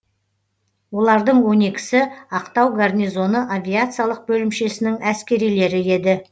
олардың он екісі ақтау гарнизоны авиациялық бөлімшесінің әскерилері еді